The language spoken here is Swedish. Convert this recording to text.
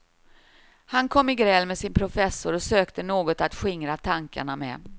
Han kom i gräl med sin professor och sökte något att skingra tankarna med.